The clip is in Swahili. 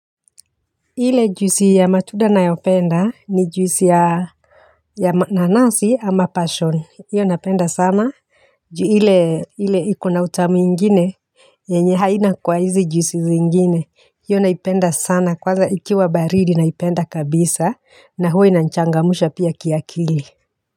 Ile juisi ya matunda nayopenda ni juisi ya ya ma nanasi ama passion. Iyo napenda sana. Ju ile ile iko na utamu ingine. Yenye haina kwa hizi juisi zingine. Iyo naipenda sana. Kwanza ikiwa baridi naipenda kabisa. Na huwa inanichangamusha pia kiakili.